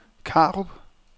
Karup